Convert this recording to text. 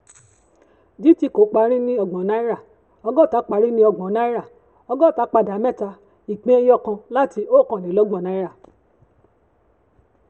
gtco parí ní ọgbọ̀n náírà ọgọ́ta parí ní ọgbọ̀n naira ọgọ́ta padà mẹ́ta láti um ọkan le lọ́gbọ̀n náírà